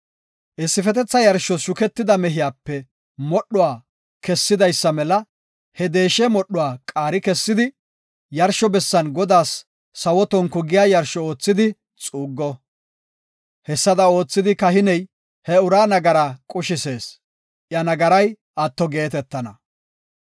Issifetetha yarshos shuketida mehiyape modhuwa kessidaysa mela he deeshe modhuwa qaari kessidi, yarsho bessan Godaas sawo tonku giya yarsho oothidi xuuggo. Hessada oothidi, kahiney he uraa nagaraa qushisees; iya nagaray atto geetetana.